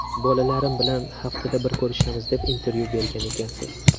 Bolalarim bilan haftada bir ko‘rishamiz, deb intervyu bergan ekansiz.